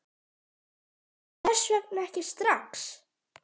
Hvers vegna ekki strax?